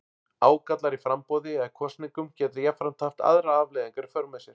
Ágallar á framboði eða kosningum geta jafnframt haft aðrar afleiðingar í för með sér.